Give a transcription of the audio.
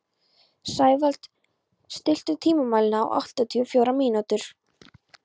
Sævald, stilltu tímamælinn á áttatíu og fjórar mínútur.